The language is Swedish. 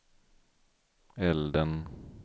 elden